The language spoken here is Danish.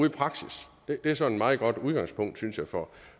i praksis det er sådan et meget godt udgangspunkt synes jeg for